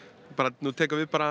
nú tekur bara